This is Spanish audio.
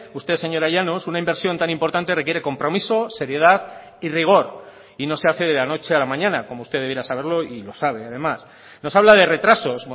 usted señora llanos una inversión tan importante requiere compromiso seriedad y rigor y no se hace de la noche a la mañana como usted debiera saberlo y lo sabe además nos habla de retrasos